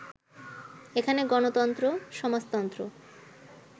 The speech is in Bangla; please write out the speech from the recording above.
এখানে গণতন্ত্র, সমাজতন্ত্র